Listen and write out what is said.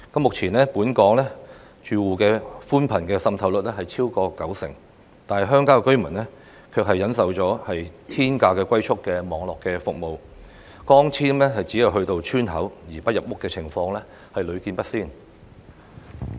目前本港住戶的寬頻滲透率超過九成，但鄉郊居民卻須忍受天價的"龜速"網絡服務，光纖只到村口而不入屋的情況更屢見不鮮。